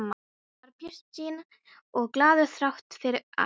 Hann var bjartsýnn og glaður þrátt fyrir allt.